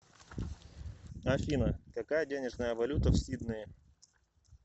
афина какая денежная валюта в сиднее